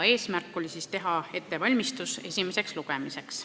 Eesmärk oli teha ettevalmistusi esimeseks lugemiseks.